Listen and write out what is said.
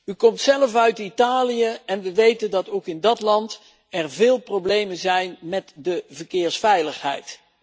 U komt zelf uit Italië en we weten dat er ook in dat land veel problemen zijn met de verkeersveiligheid.